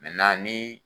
ni